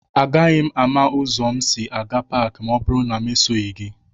Agaghị m ámá ụzọ m si aga Pááki ma ọ bụrụ na esoghị m gị